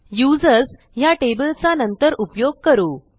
users ह्या टेबलचा नंतर उपयोग करू